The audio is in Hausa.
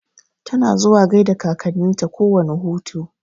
Tana zuwa gaida kakanninta kowane hutu.